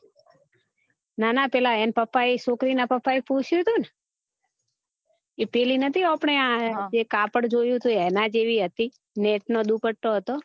ના ના પીલા એન પપ્પા એ છોકરી ના પપ્પા એ પૂછ્યું હતું ને ઈ પેલી નતી અપને આ કાપડ જોયું હતું એના જેવી હતી ને મેશ નો દુપટો હતો